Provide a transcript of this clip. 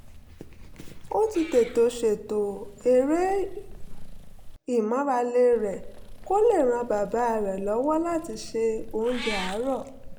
ó ti tètè ṣètò eré ìmárale rẹ̀ kó lè ran bàbá rẹ̀ lọ́wọ́ láti se oúnjẹ àárọ̀